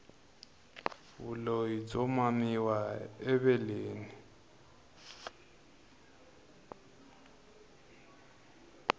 vulyi byo mamiwa eveleni